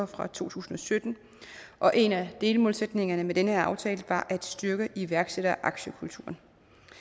fra to tusind og sytten og en af delmålsætningerne med den her aftale var at styrke iværksætter og aktiekulturen